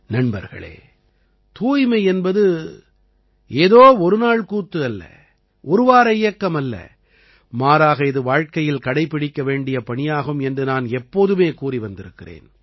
நண்பர்களே தூய்மை என்பது ஏதோ ஒரு நாள் கூத்து அல்ல ஒரு வார இயக்கமல்ல மாறாக இது வாழ்க்கையில் கடைப்பிடிக்க வேண்டிய பணியாகும் என்று நான் எப்போதுமே கூறி வந்திருக்கிறேன்